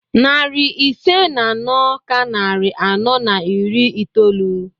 Narị ise na anọ ka narị anọ na iri itoolu.